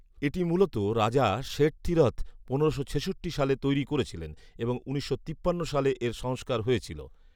এটি মূলত রাজা শেঠথিরথ পনেরোশো ছেষট্টি সালে তৈরি করেছিলেন এবং উনিশশো তিপ্পান্ন সালে এর সংস্কার হয়েছিল